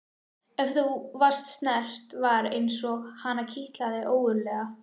Ef hún var snert var eins og hana kitlaði ógurlega.